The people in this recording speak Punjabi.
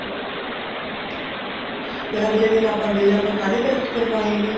ਫ਼ੇਰ ਅਗਲੇ ਦਿਨ ਆਪਾਂ ਗਏ ਆਪਾਂ ਸਾਰੇ test ਕਰਵਾਏ ਨੇ